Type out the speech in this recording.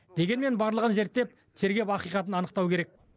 дегенмен барлығын зерттеп тергеп ақиқатын анықтау керек